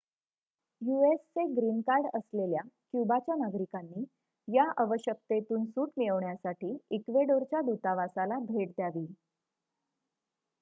युएसचे green card असलेल्या क्युबाच्या नागरिकांनी या अवश्यकतेतून सूट मिळवण्यासाठी इक्वेडोरच्या दूतावासाला भेट द्यावी